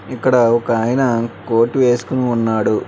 ఇక్కడ ఒక ఆయనా కోట్ వెస్కొని ఉన్నాడు.